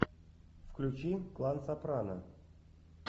включи клан сопрано